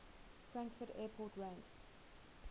frankfurt airport ranks